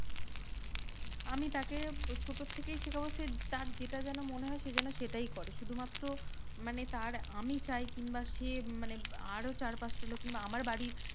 আমি তাকে ছোটো থেকেই শেখাবো সে তার যেটা যেন মনে হয় সে যেন সেটাই করে। শুধুমাত্র মানে তার আমি চাই কিংবা সে মানে আরও চার পাঁচটা লোক কিংবা আমার বাড়ির